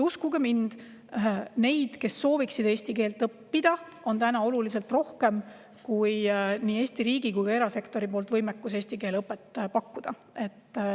Uskuge mind, neid, kes sooviksid eesti keelt õppida, on oluliselt rohkem kui neid, kellele nii Eesti riigil kui ka erasektoril on võimekus eesti keele õpet pakkuda.